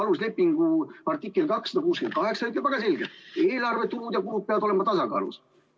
Aluslepingu artikkel 268 ütleb väga selgelt, et eelarve tulud ja kulud peavad olema tasakaalus.